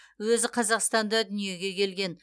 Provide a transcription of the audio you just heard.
өзі қазақстанда дүниеге келген